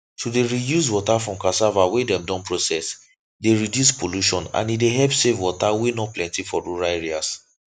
to dey reuse water from cassava wey dem don process dey reduce pollution and e dey help save water wey no plenty for rural areas